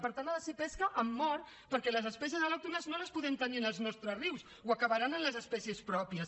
per tant ha de ser pesca amb mort perquè les espècies al·lòctones no les podem tenir en els nostres rius o acabaran amb les espècies pròpies